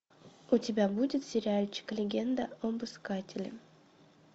у тебя будет сериальчик легенда об искателе